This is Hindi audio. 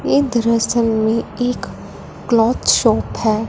ये दृश्य में एक क्लॉथ शॉप है।